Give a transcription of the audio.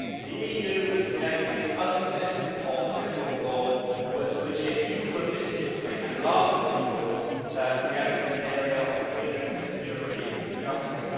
The EU is creating its own system of criminal law, a process which it euphemistically and laughably calls creating an area of freedom, security and justice.